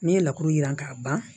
N'i ye laturu jiran k'a ban